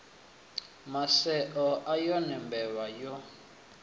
maseo a yone mbevha yo